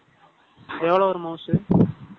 எவ்வளவு ஒரு மவுசு?